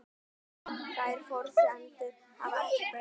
Þær forsendur hafi ekkert breyst